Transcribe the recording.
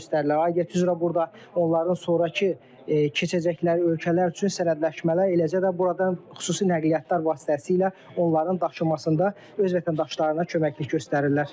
Adət üzrə burda onların sonrakı keçəcəkləri ölkələr üçün sənədləşmələri, eləcə də buradan xüsusi nəqliyyatlar vasitəsilə onların daşınmasında öz vətəndaşlarına köməklik göstərirlər.